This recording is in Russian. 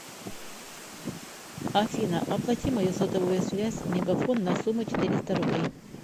афина оплати мою сотовую связь мегафон на сумму четыреста рублей